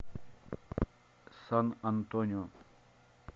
сан антонио